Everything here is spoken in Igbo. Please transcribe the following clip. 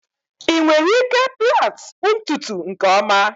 ị nwere ike plait ntutu nke ọma?